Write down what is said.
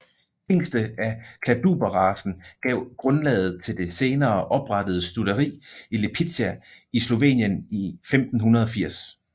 Hingste af Kladruberracen gav grundlaget til det senere oprettede stutteri i Lipizza i Slovenien i 1580